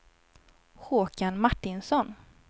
Håkan Martinsson